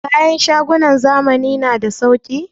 Kayan shagunan zamani na da sauki?